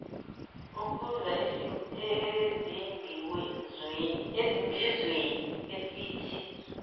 ukuza ezimbizweni esithi